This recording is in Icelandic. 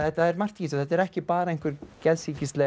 er margt í þessu þetta er ekki bara einhver